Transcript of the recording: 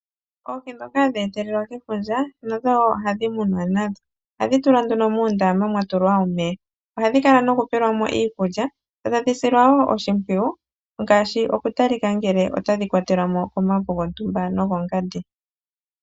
Oohi dhoka hadhi etelelwa kefundja nadho wo ohadhi munwa nadho . Ohadhi tulwa nduno moondama mwa tulwa omeya, ohadhi kala noku pelwa mo iikulya .Dho tadhi silwa wo oshimpwiyu, ngaaashi oku talika ngele otadhi kwatelwamo komauvu gontumba nogongandi.